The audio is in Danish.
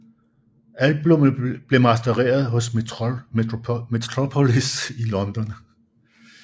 Albummet blev mastereret hos Metropolis i London